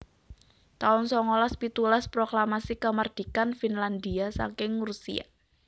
taun songolas pitulas Proklamasi Kamardikan Finlandhia saking Rusia